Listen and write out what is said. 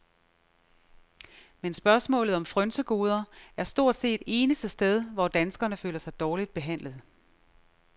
Men spørgsmålet om frynsegoder er stort set eneste sted, hvor danskerne føler sig dårligt behandlet.